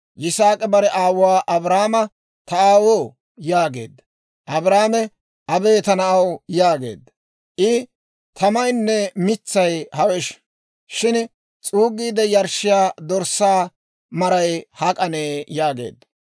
Yisaak'i bare aawuwaa Abrahaama, «Ta aawoo» yaageedda. Abrahaame, «Abee, ta na'aw» yaageedda. I, «Tamaynne mitsay hawesh; shin s'uuggiide yarshshiyaa dorssaa maray hak'anee?» yaageedda.